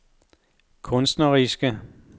kunstneriske